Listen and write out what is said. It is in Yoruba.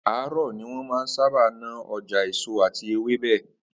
Àárò̩ ni wó̩n máa ń sábà ná o̩jà èso àti ewébè̩